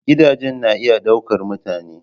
Gidaje na iya ɗaukar mutane.